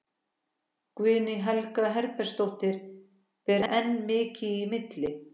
Guðný Helga Herbertsdóttir: Ber enn mikið í milli?